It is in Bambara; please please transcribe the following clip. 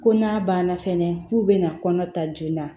Ko n'a banna fɛnɛ k'u bɛna kɔnɔ ta joona